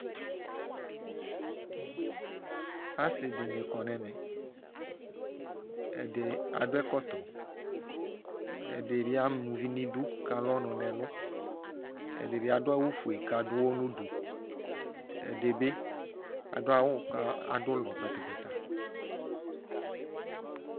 asiwanidu udzali abunudzaɛli ɛdini amauvinidu ɛdiniakɔ ɛkɔtɔ udzeeli itsuʋ du udzaeli uɔ ugbata du itsuwani ava ɛlɛ ɔwlɔ ŋŋ ugbata wanilɛ ɔwlɔmɔ